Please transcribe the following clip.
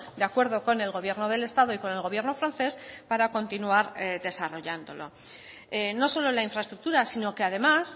de acuerdo con el gobierno del estado y con el gobierno francés para continuar desarrollándolo no solo la infraestructura sino que además